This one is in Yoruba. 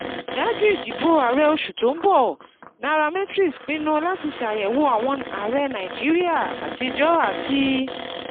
Ṣáájú ìdìbò ààrẹ oṣù tó ń bọ̀, Nairametrics pinnu láti ṣàyẹ̀wò àwọn ààrẹ Nàìjíríà àtijọ́ àti